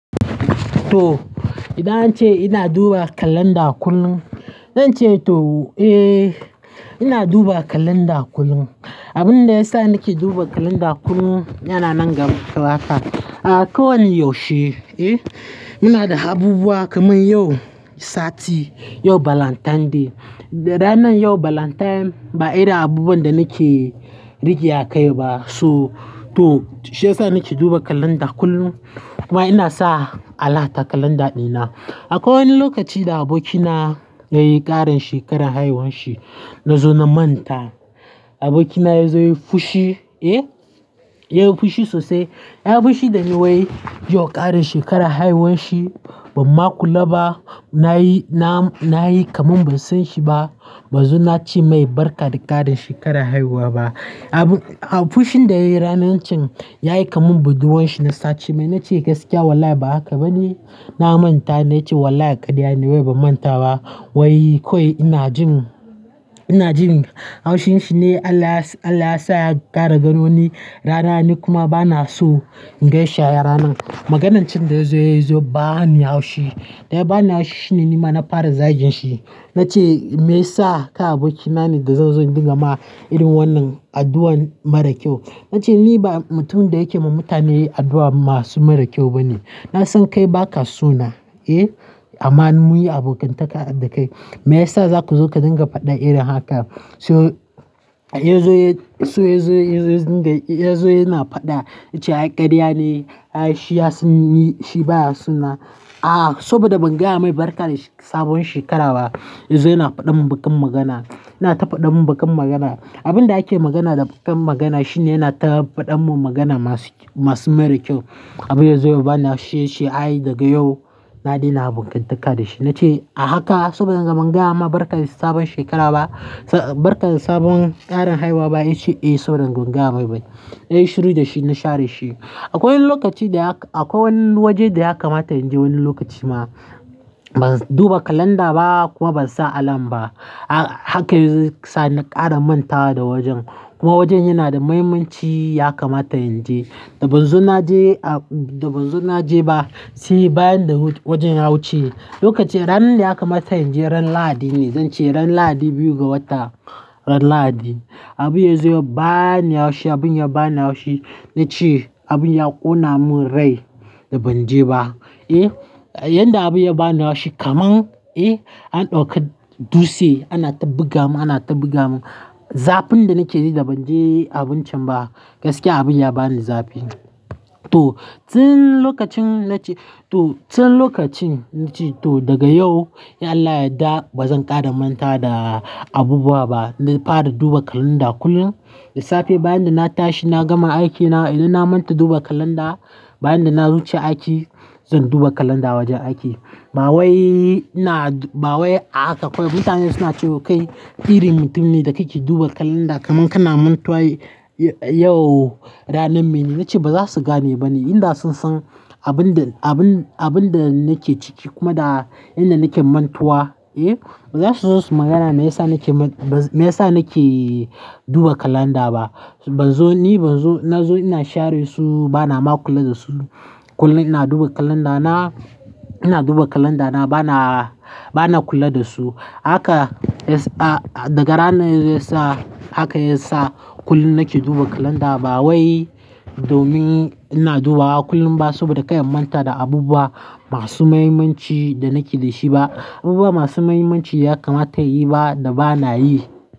To, idan an ce ina duba kalanda kullum, zan ce to eh ina duba kalanda kullum. Abin da yasa nake duba kalanda kullum yana nan ga ɗakata. Akwai wani yaushe, eh, muna da abubuwa kamar yau sati, yau Valentine Day. Ranar yau Valentine ba ina abubuwan da nake rigya kai ba, so to shi ya sa nake duba kalanda kullum kuma ina sa alarm a kalanda ɗina. Akwai wani lokaci da abokina ya yi ƙarin shekarar haihuwanshi na zo na manta. Abokina ya zo ya yi fushi, eh, ya yi fushi sosai. Ya yi fushi dan wai yau ƙarin shekarar haihuwanshi, ban ma kula ba. Na yi, na, na yi kaman ban san shi ba. Ban zo na ce mai barka da ƙarin shekarar haihuwa ba. Abu, fushin da yayi ranar can yayi kamar budurwan shi na sace. Mai na ce gaskiya wallahi ba haka ba ne, na manta ya ce wallahi a karya ne wai ba manta ba. Wai kawai ina jin, ina jin haushin shi ne Allah ya sa, Allah ya sa ya kara ganoni. Rana nikuma banason in ganshi a ranan Maganar can da yazo yazo ba ni haushi. Da ya ba ni haushi shine ni ma na fara zagin shi. Na ce me ya sa ka abokina ne da zan zo in dinga ma irin wannan addu'an mara kyau. Na ce ni ba mutumin da yake ma mutane addu'an masu mara kyau ba ne. Na san kai baka so na, eh? Amma munyi abokantaka dakai. Me yasa zaku zo ka dinga faɗa irin haka? So yazo ya, so yazo yazo dinga, yazo yana faɗa, ya ce a karya ne, ai shi ya sanyi, shi baya so na. Aa saboda ban gaya mai barka da sabuwan shekara ba yazo yana faɗan mun baƙan magana. Yana ta faɗa mun baƙan magana. Abin da ake magana da baƙan magana shine yana ta faɗa mun magana masu, masu mara kyau. Abu yazo ya bani haushi, ya ce ai daga yau na daina abokantaka da shi. Na ce a haka saboda yanzu ban gaya ma barka da sabon shekara ba. Barka da sabon ƙarin haiwa ba. Ya ce eh saboda ban gaya mai ba. Na yi shiru da shi, na share shi. Akwai wani lokaci da ya ka, akwai wani waje da ya kamata in je wani lokaci ma. Ban duba kalanda ba kuma ban sa alarm ba. Haka ya sa na ƙara manta da wajen. Kuma wajen yana da muhimmanci ya kamata in je. Da ban zo na je a, da ban zo na je ba sai bayan da wajen ya wuce. Lokaci ranar da ya kamata in je ran Lahadi ne. Zan ce ran Lahadi biyu ga wata, ran Lahadi. Abu yazo ya bani haushi. Abun ya bani haushi. Na ce abun ya ƙona mun rai da ban je ba, eh? Yanda abu ya bani haushi kamar, eh, an ɗauka dutse ana ta buga mun, ana ta buga mun. Zafin da nake ji da ban je abun can ba, gaskiya abun ya bani zafi. To, tin lokacin na ce to, tin lokacin na ce to daga yau, in Allah ya dda ba zan ƙara manta da abu ba ba. Na fara duba kalanda kullum. Da safe bayan da na tashi na gama aikina idan na manta duba kalanda, bayan da na wuce aiki, zan duba kalanda wajen aiki. Ba wai ina, ba wai a haka kawai. Mutane suna cewa kai irin mutum ne da kai ke duba kalanda kaman kana mantawa yau ranar me ne. Na ce ba za su gane ba ne inda sun san abin da, abin, abin da nake ciki kuma da inda nake mantuwa, eh? Ba za su zo su magana me yasa nake man, me yasa nake duba kalanda ba. Ban zo ni, ban zo, na zo ina share su, bana ma kula da su. Kullum ina duba kalanda na, ina duba kalanda na bana, bana kula da su. Haka, daga ranar yazo ya sa haka ya sa kullum nake duba kalanda ba wai domin ina dubawa kullum ba saboda kai manta da abubuwa masu muhimmanci da nake da shi ba. Abubuwa masu muhimmanci ya kamata ya yi ba da bana yi.